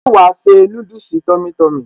Ṣé wàá se núdùsì tummy tummy?